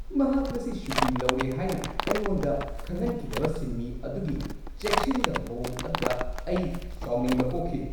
ꯃꯍꯥꯛ ꯉꯁꯤ ꯁꯨꯇꯤ ꯂꯧꯔꯦ ꯍꯥꯏꯅ ꯑꯩꯉꯣꯟꯗ ꯈꯪꯍꯟꯈꯤꯗꯕ ꯁꯤꯟꯃꯤ ꯑꯗꯨꯒꯤ ꯆꯦꯛꯁꯤꯟꯗꯕ ꯃꯑꯣꯡ ꯑꯗꯨꯗ ꯑꯩ ꯁꯥꯎꯅꯤꯡꯕ ꯄꯣꯛꯈꯤ꯫